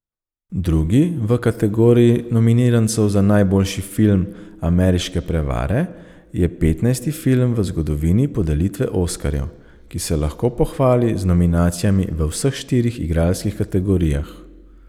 Drugi v kategoriji nominirancev za najboljši film Ameriške prevare je petnajsti film v zgodovini podelitve oskarjev, ki se lahko pohvali z nominacijami v vseh štirih igralskih kategorijah.